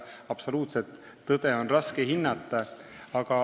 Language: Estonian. Absoluutset tõde on siin raske leida.